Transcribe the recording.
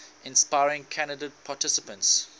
inspiring candidate participants